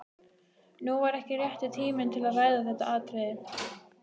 Nú var ekki rétti tíminn til að ræða þetta atriði.